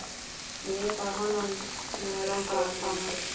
Ég veit að hana langar að tala.